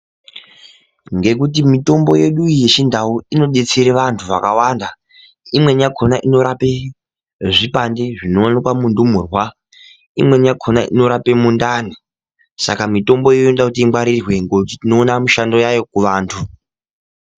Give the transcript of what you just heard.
Ngekuti mutombo yedu iyi yechindau inodetsere vantu vakawanda imwrni yakhona inorape zvipande zvinowanikwa mundumurwa imweni yakhona inorape mundani saka mitombo iyi inoda kuti ingwarirwe ngokuti tinoOna mushando yayo kuvantu.